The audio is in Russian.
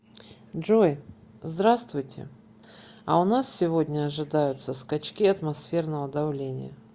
джой здравствуйте а у нас сегодня ожидаются скачки атмосферного давления